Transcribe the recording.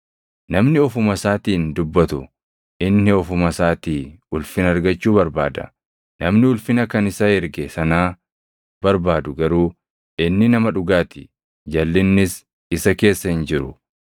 Namni ofuma isaatiin dubbatu inni ofuma isaatii ulfina argachuu barbaada; namni ulfina kan isa erge sanaa barbaadu garuu inni nama dhugaa ti; jalʼinnis isa keessa hin jiru.